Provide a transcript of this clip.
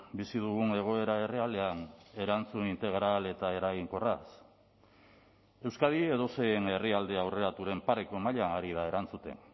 bizi dugun egoera errealean erantzun integral eta eraginkorraz euskadi edozein herrialde aurreraturen pareko mailan ari da erantzuten